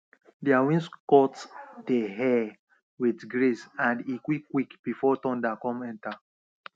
their wings cut dey air with grace and e quick quick before thunder come enter